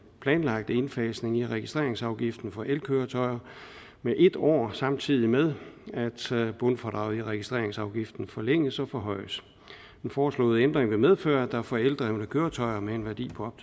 planlagte indfasning i registreringsafgiften for elkøretøjer med en år samtidig med at bundfradraget i registreringsafgiften forlænges og forhøjes den foreslåede ændring vil medføre at der for eldrevne køretøjer med en værdi på